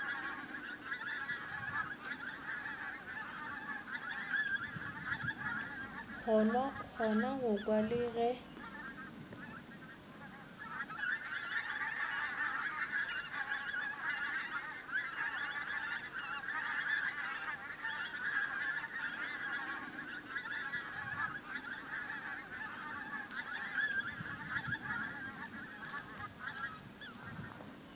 kgona go kwa le ge